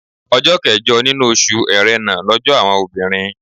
Ọjọ́ kẹjọ nínú oṣù Ẹ̀rẹnà lọ́jọ́ àwọn obìnrin.